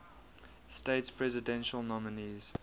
states presidential nominees